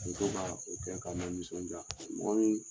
Muso b'a o kɛ ka n la nisɔndiya mɔgɔ ni